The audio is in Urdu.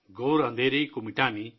گھور اندھیرے کو مٹانے